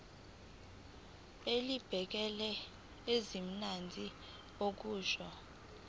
elibhekele ezezimali kusho